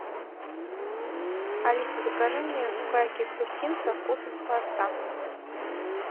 алиса закажи мне сухарики хрустим со вкусом холодца